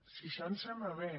si això ens sembla bé